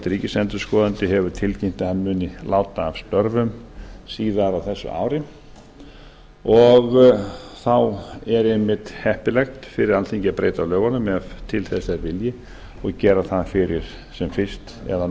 ríkisendurskoðandi hefur tilkynnt að hann muni láta af störfum síðar á þessu ári og þá er einmitt heppilegt fyrir alþingi að breyta lögunum ef til þess er vilji og gera það sem fyrst eða á